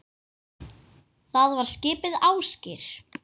Það var skipið Ásgeir